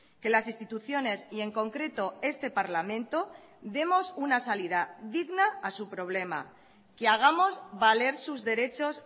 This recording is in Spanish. que las instituciones y en concreto este parlamento demos una salida digna a su problema que hagamos valer sus derechos